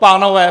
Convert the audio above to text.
Pánové!